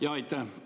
Jaa, aitäh!